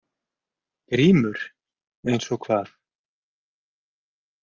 GRÍMUR: Eins og hvað?